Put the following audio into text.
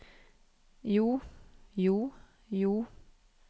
jo jo jo